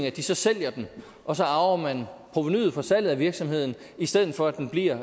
at de så sælger den og så arver man provenuet fra salget af virksomheden i stedet for at den bliver